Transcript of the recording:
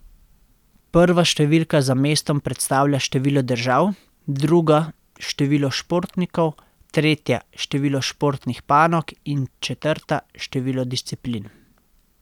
Prva številka za mestom predstavlja število držav, druga število športnikov, tretja število športnih panog in četrta število disciplin.